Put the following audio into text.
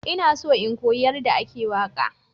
Ina so in koyi yadda ake waƙa.